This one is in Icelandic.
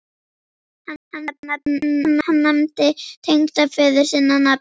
Hann nefndi tengdaföður sinn á nafn.